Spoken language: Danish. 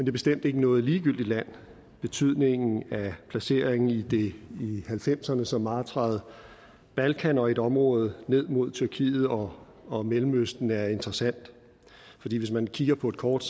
er bestemt ikke noget ligegyldigt land betydningen af placeringen i det i nitten halvfemserne så martrede balkan og et område ned mod tyrkiet og og mellemøsten er interessant fordi hvis man kigger på et kort